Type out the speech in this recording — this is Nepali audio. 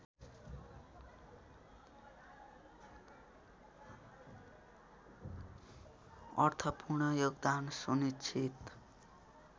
अर्थपूर्ण योगदान सुनिश्चित